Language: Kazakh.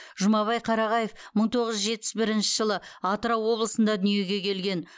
жұмабай қарағаев мың тоғыз жүз жетпіс бірінші жылы атырау облысында дүниеге келген